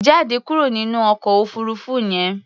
Jáde kúrò nínú ọkọ̀ òfuurufú yẹn!